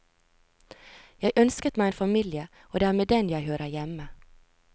Jeg ønsket meg en familie, og det er med den jeg hører hjemme.